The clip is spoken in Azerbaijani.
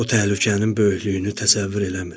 O təhlükənin böyüklüyünü təsəvvür eləmir.